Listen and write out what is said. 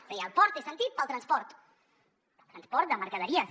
és a dir el port té sentit per al transport el transport de mercaderies